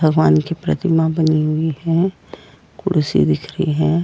भगवान की प्रतिमा बनी हुई है कुड़सी दिख रही है।